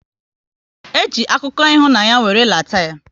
E ji akụkọ ịhụnanya wéré lata ya